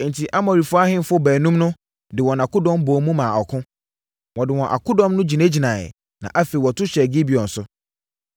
Enti, Amorifoɔ ahemfo baanum no de wɔn akodɔm bɔɔ mu maa ɔko. Wɔde wɔn akodɔm no gyinagyinaeɛ, na afei wɔto hyɛɛ Gibeon so.